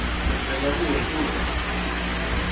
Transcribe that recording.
levela kuwe futsi